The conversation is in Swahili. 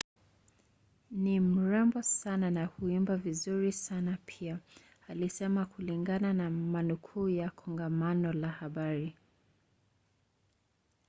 "ni mrembo sana na huimba vizuri sana pia alisema kulingana na manukuu ya kongamano la habari